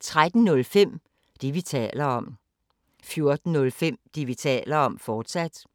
13:05: Det, vi taler om 14:05: Det, vi taler om, fortsat